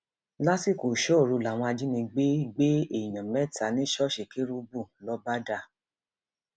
lásìkò ìṣọòru làwọn ajìnigbẹ gbé èèyàn mẹta ní ṣọọṣì kérúbù lọbàdà